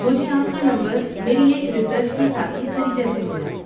مجھے آپ کا نمبر میری ایک ریسرچ کی ساتھی سریجا سے ملا۔